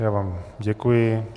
Já vám děkuji.